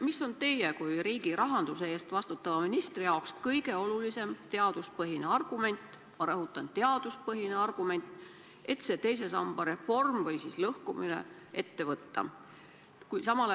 Mis on teie kui riigi rahanduse eest vastutava ministri jaoks kõige olulisem teaduspõhine argument – ma rõhutan, teaduspõhine argument –, et teise samba reform või lõhkumine ette võtta?